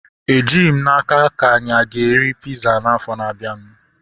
Ejighị m n'aka ka anyi a ga-eri piza afọ na-abianu